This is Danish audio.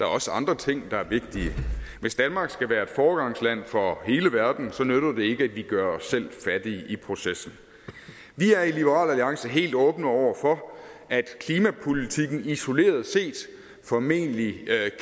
også andre ting der er vigtige hvis danmark skal være et foregangsland for hele verden nytter det ikke at vi gør os selv fattige i processen vi er i liberal alliance helt åbne over for at klimapolitikken isoleret set formentlig